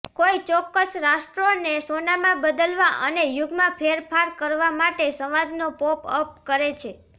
કોઈ ચોક્કસ રાષ્ટ્રોને સોનામાં બદલવા અને યુગમાં ફેરફાર કરવા માટે સંવાદનો પોપ અપ કરે છે